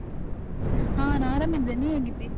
ಹಾ ನಾ ಆರಾಮಿದ್ದೇನ್, ನೀ ಹೀಗಿದ್ದೀ?